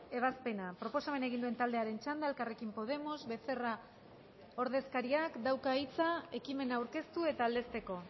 ebazpena proposamena egin duen taldearen txanda elkarrekin podemos becerra ordezkariak dauka hitza ekimena aurkeztu eta aldezteko